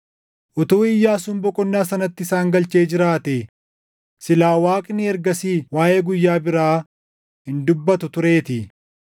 Utuu Iyyaasuun boqonnaa sanatti isaan galchee jiraatee, silaa Waaqni ergasii waaʼee guyyaa biraa hin dubbatu tureetii.